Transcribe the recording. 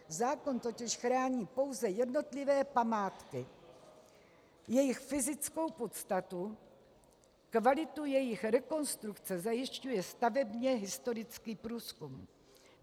Zákon totiž chrání pouze jednotlivé památky, jejich fyzickou podstatu, kvalitu jejich rekonstrukce zajišťuje stavebně historický průzkum.